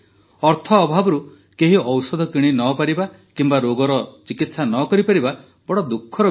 ଅର୍ଥ ଅଭାବରୁ କେହି ଔଷଧ କିଣି ନ ପାରିବା କିମ୍ବା ରୋଗର ଚିକିତ୍ସା ନ କରିପାରିବା ବଡ଼ ଦୁଃଖର ବିଷୟ